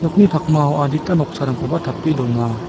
pakmao adita noksarangkoba tape dona.